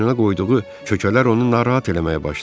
Boynuna qoyduğu kökələr onu narahat eləməyə başlamışdı.